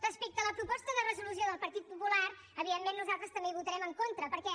respecte a la proposta de resolució del partit popular evidentment nosaltres també hi votarem en contra perquè